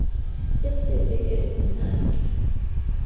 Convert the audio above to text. e se be eo mmate